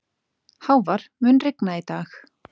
Hávar, mun rigna í dag?